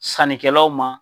Sannikɛlaw ma